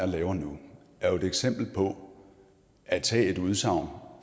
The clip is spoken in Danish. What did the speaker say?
laver nu er jo et eksempel på at tage et udsagn og